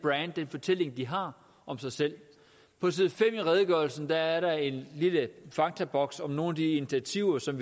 fortælling de har om sig selv på side fem i redegørelsen er er der en lille faktaboks om nogle af de initiativer som